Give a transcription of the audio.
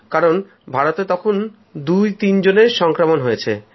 কারণ ভারতে তখন দুতিনজনের সংক্রমণ হয়েছে